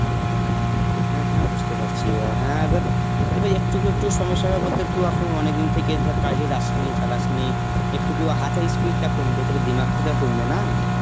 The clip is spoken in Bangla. হ্যাঁ হ্যাঁ বুঝতে পারছি অ হ্যাঁ এবা~ এবার একটু একটু সমস্যা হবে বলতে তু এখন অনেক দিন থেকে ধর কাজে যাসনি, চালাসনি একটুকুও হাতের speed টা কমবে তবে Hindi তো আর কমবে না.